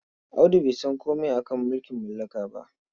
Audu bai san komai a ka mulking mallaka ba.